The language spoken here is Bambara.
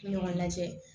Ɲɔgɔn lajɛ